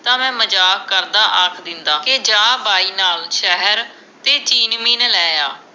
ਤਾਂ ਮੈਂ ਮਜਾਕ ਕਰਦਾ ਆਖ ਦਿੰਦਾ ਕੇ ਜਾ ਬਾਈ ਨਾਲ ਸ਼ਹਿਰ ਤੇ ਚੀਨ ਮੀਨ ਲੈ ਆ